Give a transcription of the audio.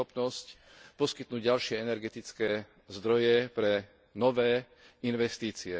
schopnosť poskytnúť ďalšie energetické zdroje pre nové investície.